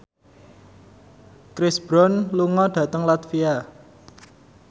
Chris Brown lunga dhateng latvia